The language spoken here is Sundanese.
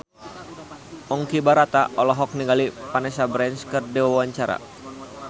Ponky Brata olohok ningali Vanessa Branch keur diwawancara